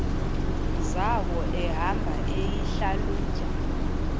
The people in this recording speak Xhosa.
zawo ehamba eyihlalutya